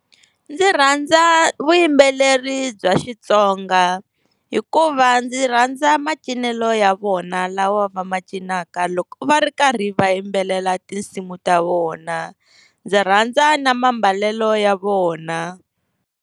Ndzi rhandza vuyimbeleri bya Xitsonga hikuva ndzi rhandza macincelo ya vona lawa va ma cinaka loko va ri karhi va yimbelela tinsimu ta vona, ndzi rhandza na mambalelo ya vona.